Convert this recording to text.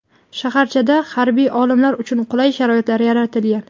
Shaharchada harbiy olimlar uchun qulay sharoitlar yaratilgan.